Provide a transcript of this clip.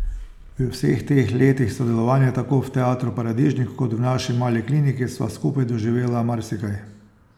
V vseh teh letih sodelovanja, tako v Teatru Paradižnik kot v Naši mali kliniki sva skupaj doživela marsikaj.